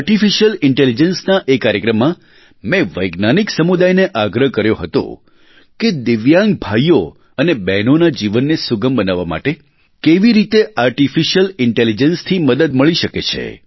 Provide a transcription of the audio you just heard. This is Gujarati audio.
આર્ટીફિશિયલ ઇન્ટેલિજન્સના એ કાર્યક્રમમાં મેં વૈજ્ઞાનિક સમુદાયને આગ્રહ કર્યો હતો કે દિવ્યાંગ ભાઇઓ અને બહેનોના જીવનને સુગમ બનાવવા માટે કેવી રીતે આર્ટીફિશિયલ ઇન્ટેલિજન્સથી મદદ મળી શકે છે